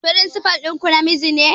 Firinsifal ɗinku namiji ne?